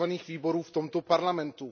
výborů v tomto parlamentu.